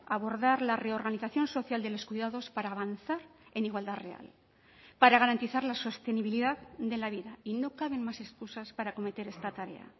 abordar la reorganización social de los cuidados para avanzar en igualdad real para garantizar la sostenibilidad de la vida y no caben más excusas para acometer esta tarea